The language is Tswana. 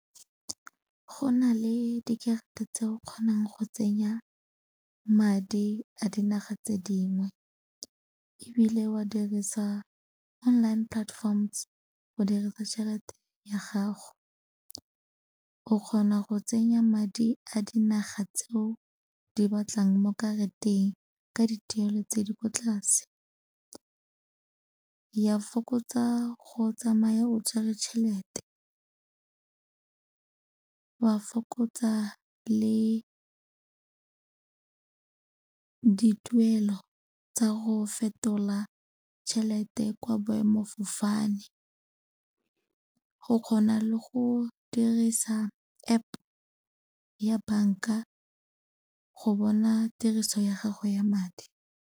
Go na le dikarata tse o kgonang go tsenya madi a dinaga tse dingwe ebile wa dirisa online platforms go dirisa tšhelete ya gago. O kgona go tsenya madi a dinaga tseo di batlang mo karateng ka dituelo tse di kwa tlase. Ya fokotsa go tsamaya o tshwere tšhelete, wa fokotsa le dituelo tsa go fetola tšhelete kwa boemafofane go kgona le go dirisa App ya banka go bona tiriso ya gago ya madi.